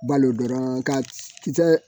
Balo dɔrɔn ka kisɛ